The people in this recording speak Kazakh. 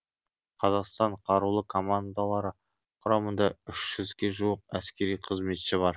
қазақстан қарулы командалары құрамында үш жүзге жуық әскери қызметші бар